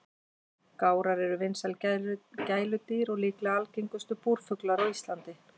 Gárar eru vinsæl gæludýr og líklega algengustu búrfuglar á Íslandi.